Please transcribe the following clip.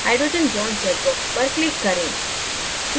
hydrogen bond check box पर click करें